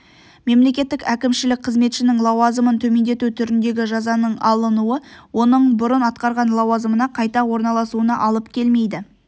мемлекеттік әкімшілік қызметшінің лауазымын төмендету түріндегі жазаның алынуы оның бұрын атқарған лауазымына қайта орналасуына алып келмейді